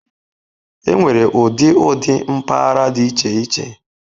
Enwere ụdị ụdị mpaghara dị iche iche.